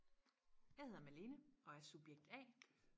Jeg hedder Malene og er subjekt a